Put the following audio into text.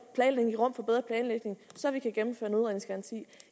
planlægning så vi kan gennemføre